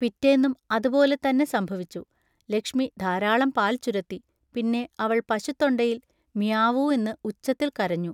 പിറ്റേന്നും അതുപോലെത്തന്നെ സംഭവിച്ചു. ലക്ഷ്മി ധാരാളം പാൽ ചുരത്തി, പിന്നെ അവൾ പശുത്തൊണ്ടയിൽ മിയാവൂ എന്ന് ഉച്ചത്തിൽ കരഞ്ഞു.